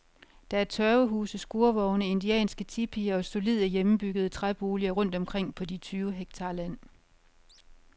Der er tørvehuse, skurvogne, indianske tipier og solide, hjemmebyggede træboliger rundt omkring på de tyve hektar land.